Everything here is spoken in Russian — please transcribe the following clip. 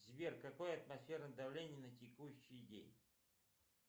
сбер какое атмосферное давление на текущий день